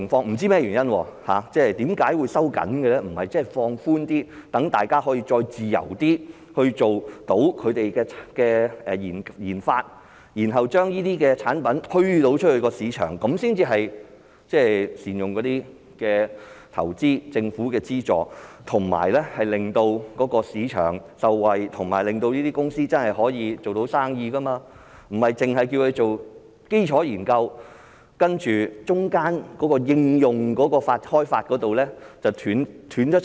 不知是甚麼原因，為何會收緊，而不是放寬，讓大家再自由地進行研發，然後將這些產品推出市場，這才是善用投資、政府的資助，以及令市場受惠，令這些公司做到生意，不單是叫他們做基礎研究，而中間的開發應用方面卻斷層？